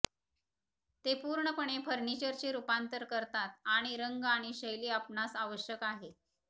ते पुर्णपणे फर्निचरचे रूपांतर करतात आणि रंग आणि शैली आपणास आवश्यक आहे